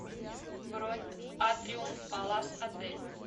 бронь атриум палас отель